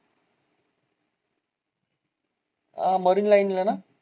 अं marine line ला ना?